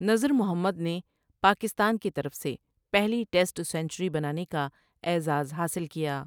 نذر محمد نے پاکستان کی طرف سے پہلی ٹیسٹ سنچری بنانے کا اعزاز حاصل کیا ۔